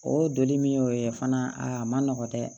O doni min y'o ye fana aa a ma nɔgɔn dɛ